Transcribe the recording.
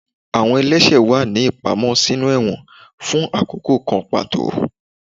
Awọn ẹlẹṣẹ wa ni ipamọ sinú ẹwọ́n fun akoko kan pató.